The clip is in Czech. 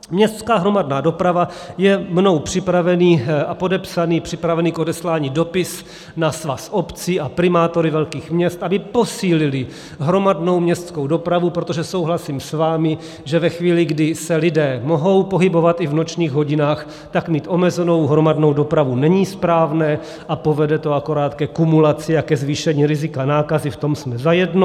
Městská hromadná doprava je mnou připravený a podepsaný, připravený k odeslání dopis na Svaz obcí a primátory velkých měst, aby posílili hromadnou městskou dopravu, protože souhlasím s vámi, že ve chvíli, kdy se lidé mohou pohybovat i v nočních hodinách, tak mít omezenou hromadnou dopravu není správné a povede to akorát ke kumulaci a ke zvýšení rizika nákazy, v tom jsme zajedno.